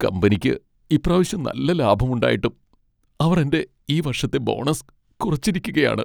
കമ്പനിക്ക് ഇപ്രാവശ്യം നല്ല ലാഭമുണ്ടായിട്ടും അവർ എൻ്റെ ഈ വർഷത്തെ ബോണസ് കുറച്ചിരിക്കുകയാണ്.